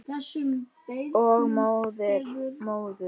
Og móður.